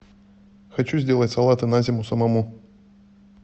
хочу сделать салаты на зиму самому